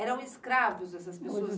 Eram escravos, essas pessoas.